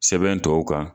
Sɛbɛn tɔw kan